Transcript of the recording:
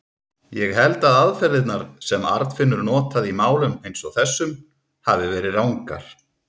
Ég held að aðferðirnar, sem Arnfinnur notaði í málum eins og þessum, hafi verið rangar.